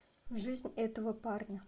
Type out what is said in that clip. жизнь этого парня